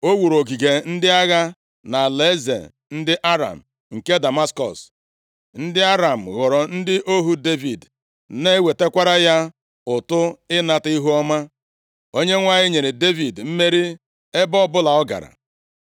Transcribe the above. O wuru ogige ndị agha nʼalaeze ndị Aram nke Damaskọs, ndị Aram ghọrọ ndị ohu Devid, na-ewetakwara ya ụtụ ịnata ihuọma. Onyenwe anyị nyere Devid mmeri ebe ọbụla ọ gara.